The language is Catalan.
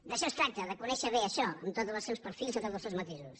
d’això es tracta de conèixer bé això amb tots els seus perfils amb tots els seus matisos